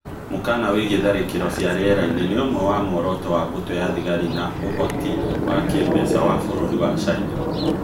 Mũkana wĩgiĩ tharakĩro cia rĩera-ini nĩ ũmwe wa mworoto wa mbũtũ ya thigari na ũũhoti wa kĩĩmbeca wa bũrũri wa China